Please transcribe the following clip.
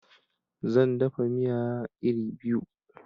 Zan dafa miya iri biyu